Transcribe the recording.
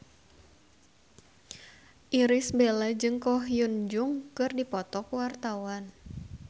Irish Bella jeung Ko Hyun Jung keur dipoto ku wartawan